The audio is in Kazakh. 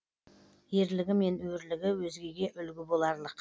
ерлігі мен өрлігі өзгеге үлгі боларлық